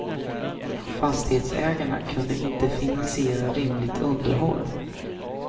Fastighetsägarna kunde inte finansiera rimligt underhåll.